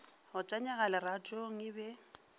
go tanyega leratong e be